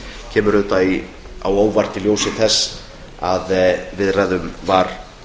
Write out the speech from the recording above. kemur auðvitað á óvart í ljósi þess að viðræðum var